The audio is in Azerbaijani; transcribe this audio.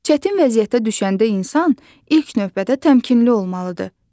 Çətin vəziyyətə düşəndə insan ilk növbədə təmkinli olmalıdır.